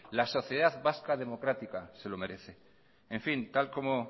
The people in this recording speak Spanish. la sociedad vasca democrática se lo merece en fin tal como